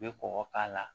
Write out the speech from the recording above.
I bɛ kɔkɔ k'a la